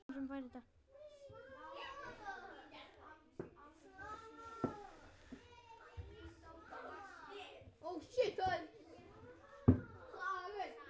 Myndir úr æsku.